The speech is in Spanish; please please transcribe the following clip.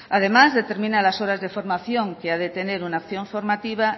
además determina las horas de formación que ha de tener una acción formativa